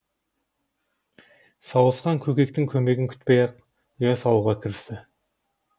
сауысқан көкектің көмегін күтпей ақ ұя салуға кірісті